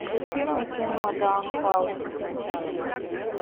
включи мне кино даун хаус